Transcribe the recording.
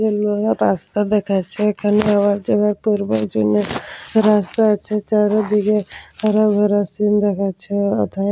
এই জায়গায় রাস্তা দেখাচ্ছে এখানে যাওয়া যাওয়া করার জন্যে রাস্তা আছে এইদিকে হরভরা সিন্ দেখাচ্ছে এথায় ।